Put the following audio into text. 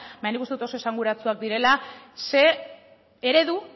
baina nik uste dut oso esanguratsuak direla zein eredu